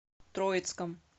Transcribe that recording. троицком